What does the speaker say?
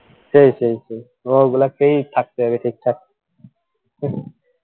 সেই সেই ও ওইগুলা খেয়েই থাকতে হবে ঠিকঠাক